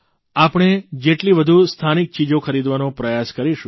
આપણે જેટલી વધુ સ્થાનિક ચીજો ખરીદવાનો પ્રયાસ કરીશું